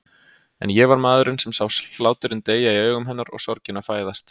En ég var maðurinn sem sá hláturinn deyja í augum hennar og sorgina fæðast.